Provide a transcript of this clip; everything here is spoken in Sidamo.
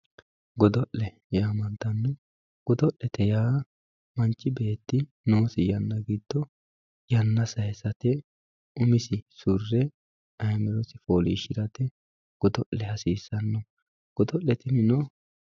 Godo'le yaamantano, godo'yaa manchi beeti noosi yana gido yana sayisate umisi surre ayimitosi foolishirate godo'le hasisanno godole tinino